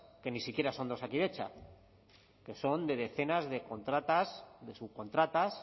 que ni siquiera son de osakidetza que son de decenas de contratas de subcontratas